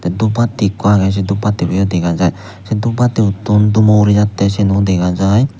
te duphatti ikko agey se duphattibo yo dega jaai duphattibotun dummo urijaide siyen ow dega jaai.